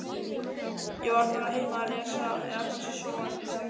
Ég var bara heima að lesa eða kannski sofandi sagði